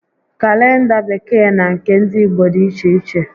Kalenda Bekee na nke ndị Igbo dịiche iche